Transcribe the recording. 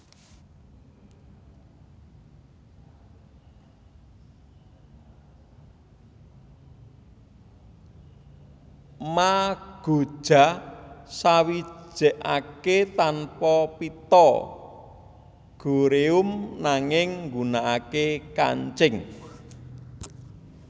Magoja sawijekake tanpa pita goreum nanging nggunakake kancing